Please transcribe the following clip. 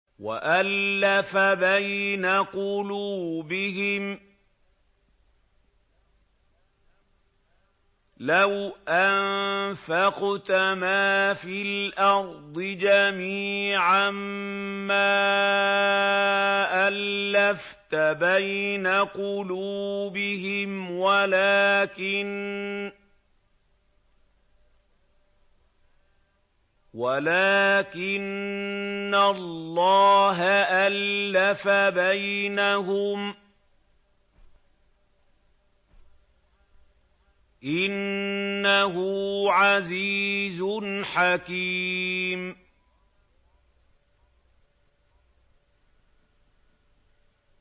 وَأَلَّفَ بَيْنَ قُلُوبِهِمْ ۚ لَوْ أَنفَقْتَ مَا فِي الْأَرْضِ جَمِيعًا مَّا أَلَّفْتَ بَيْنَ قُلُوبِهِمْ وَلَٰكِنَّ اللَّهَ أَلَّفَ بَيْنَهُمْ ۚ إِنَّهُ عَزِيزٌ حَكِيمٌ